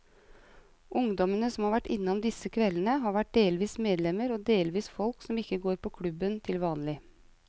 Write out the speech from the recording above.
Ungdommene som har vært innom disse kveldene, har vært delvis medlemmer og delvis folk som ikke går på klubben til vanlig.